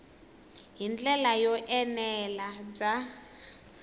hi ndlela yo enela bya